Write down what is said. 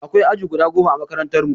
Akwai aji guda goma ã makarantan mu.